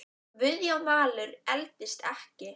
Guðjón Valur eldist ekki.